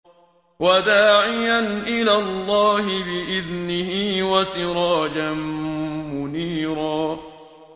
وَدَاعِيًا إِلَى اللَّهِ بِإِذْنِهِ وَسِرَاجًا مُّنِيرًا